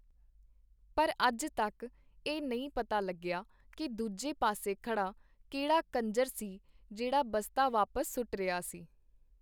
ਪਰ ਅੱਜ ਤੱਕ ਇਹ ਨਈ ਪਤਾ ਲੱਗਿਆ ਕੀ ਦੂਜੇ ਪਾਸੇ ਖੜ੍ਹਾ ਕਿਹੜਾ ਕੰਜਰ ਸੀ ਜਿਹੜਾ ਬਸਤਾ ਵਾਪਸ ਸੁੱਟ ਰਿਹਾ ਸੀ.